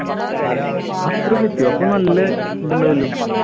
അത്രോം ഒക്കെ എത്തിയോ അപ്പൊ നല്ല ഇതുണ്ടാവുമല്ലോ?